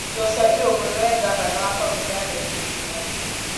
Joshua Irungu nĩwe ngavana wa kaũntĩ ya Laikipia.